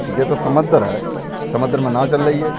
जे तो समन्दर है। समन्दर में नाव चल रही है।